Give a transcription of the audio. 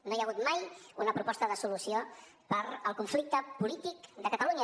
no hi ha hagut mai una proposta de solució per al conflicte polític de catalunya